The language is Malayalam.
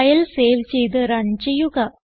ഫയൽ സേവ് ചെയ്ത് റൺ ചെയ്യുക